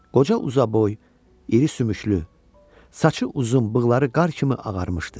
Qoca uzaboy, iri sümüklü, saçı uzun, bığları qar kimi ağarmışdı.